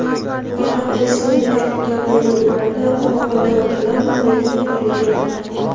faqat respublikaning tog‘li hududlarida momaqaldiroq bilan mahalliy yomg‘irlar yog‘adi.